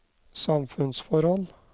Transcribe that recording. samfunnsforhold